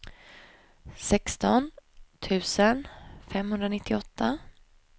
sexton tusen femhundranittioåtta